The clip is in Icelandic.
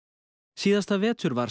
síðasta vetur var